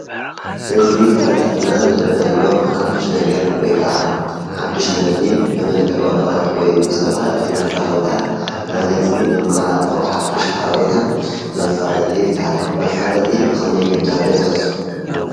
ህዝቢ ኽፈልጠልና ዝደለናዮ ሓድሽ ነገር ወይ ከዓ ሓድሽ ምህርቲ ብመልከዕ ወረቐት ወይ ብዝተፈላለዩ መራ ኽብታት ናብ ህዝቢ እነመሓላልፎ ሓድሽ ሓበሬታ መፋለጢ ይበሃል፡፡ መፋለጢ ብኸመይ ክዳሎ ይኽእል?